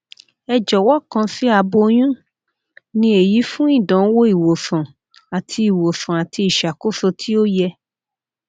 ẹ jọwọ kan si aboyun ni eyi fun idanwo iwosan ati iwosan ati iṣakoso ti o yẹ